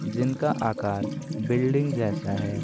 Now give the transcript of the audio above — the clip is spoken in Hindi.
जिनका आकार बिल्डिंग जैसा है।